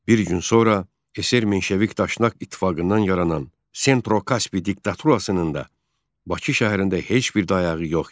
Bir gün sonra SR Menşevik Daşnak ittifaqından yaranan Sentrokaspi diktaturasının da Bakı şəhərində heç bir dayağı yox idi.